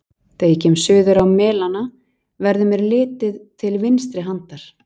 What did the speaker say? Þegar ég kem suður á Melana, verður mér litið til vinstri handar.